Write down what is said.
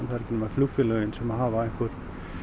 það er ekki nema flugfélögin sem að hafa einhver